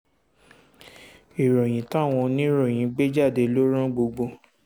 ìròyìn táwọn oníròyìn gbé jáde ló ran gbogbo